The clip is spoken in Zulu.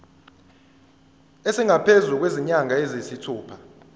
esingaphezu kwezinyanga eziyisithupha